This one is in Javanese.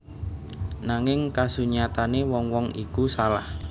Nanging kasunyatane wong wong iku salah